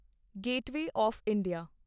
gateway of India